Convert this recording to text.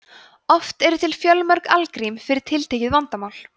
oft eru til fjölmörg algrím fyrir tiltekið vandamál